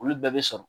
Olu bɛɛ bɛ sɔrɔ